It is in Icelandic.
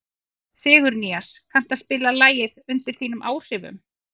Sigurnýas, kanntu að spila lagið „Undir þínum áhrifum“?